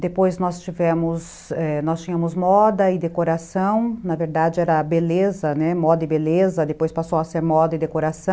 Depois nós tivemos, é, nós tínhamos moda e decoração, na verdade era beleza, moda e beleza, depois passou a ser moda e decoração.